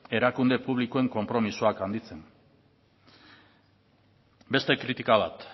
erakunde publikoen konpromisoak handitzen beste kritika bat